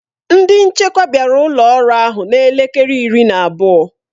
Ndị nchekwa bịara ụlọ ọrụ ahụ na elekere iri na abụọ.